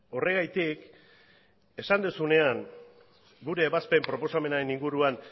horregatik esan duzunean gure ebazpen proposamenaren inguruan